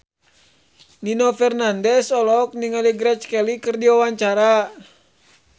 Nino Fernandez olohok ningali Grace Kelly keur diwawancara